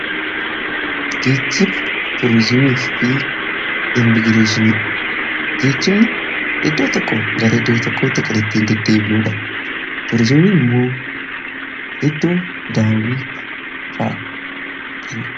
geechiba turzimii fi immigreeshini geechimni iddoo tokko gara iddoo tokko tiqalattiin deddeebinuudha turzimiin immoo iddoo daawii faa